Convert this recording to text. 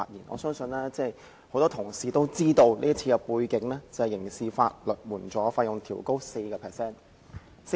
我相信很多同事也知道，這項擬議決議案的目的是調高刑事法律援助的費用 4%。